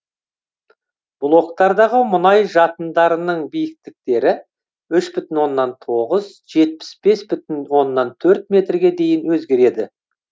блоктардағы мұнай жатындарының биіктіктері үш бүтін оннан тоғыз жетпіс бес бүтін оннан төрт метрге дейін өзгереді